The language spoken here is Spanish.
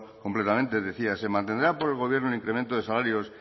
completamente decía se mantendrá por el gobierno el incremento de salarios